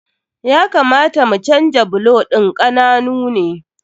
Ya kamata mu canja bulo ɗin, ƙananu ne.